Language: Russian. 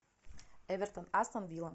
эвертон астон вилла